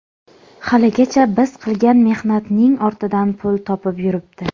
Haligacha biz qilgan mehnatning ortidan pul topib yuribdi.